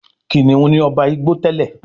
Kìnìún ní oba Ìgbò tèlé.